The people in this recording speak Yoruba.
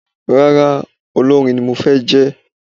Rárá, Olórin ni màá jẹ́